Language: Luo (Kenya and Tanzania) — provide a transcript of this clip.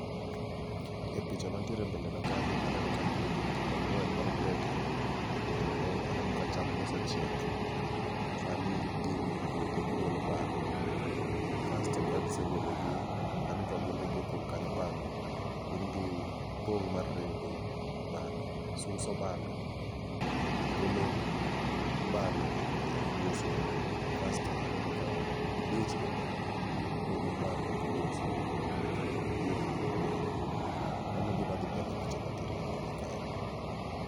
E pichani mantiere e mbele na kanyo aneno ka nitie jopur angwen maroteke kendo aneno ka cham gi osechiek. Sani gin e puodho gigolo bando. Kasto ka gisegolo gi aneno ka gunde gi opong kanyo bando, gin gi pong' mar rego bando, suso bando, golo bando e oguslu .Kasto aneno ka gidich kendo gipogo bando gi ogusu giketo yore yore. Mano e gima dhi mbele e pichani ma kae